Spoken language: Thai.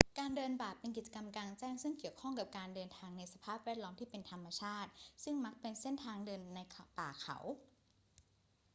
การเดินป่าเป็นกิจกรรมกลางแจ้งซึ่งเกี่ยวข้องกับการเดินในสภาพแวดล้อมที่เป็นธรรมชาติ ซึ่งมักจะเป็นเส้นทางเดินในป่าเขา